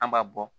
An b'a bɔ